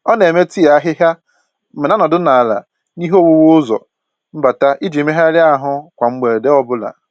Ọ na eme tii ahịhịa ma na-anọdụ ala n'ihe owuwu ụzọ mbata iji megharịa ahụ kwa mgbede ọ bụla